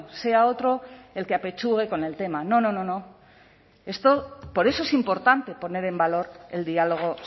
sea otro el que apechugue con el tema no no por eso es importante poner en valor el diálogo